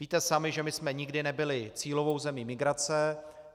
Víte sami, že my jsme nikdy nebyli cílovou zemí migrace.